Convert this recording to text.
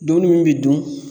Dumuni min bi dun